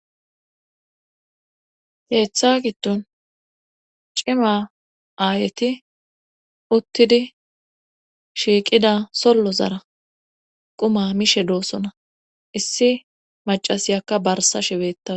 Keetha giddon cima aayeti uttidi shiiqid sollozara qumaa mishe doosona iisi maccasiyakka barssashe beettaws